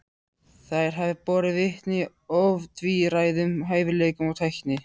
Þær hafi borið vitni ótvíræðum hæfileikum og tækni.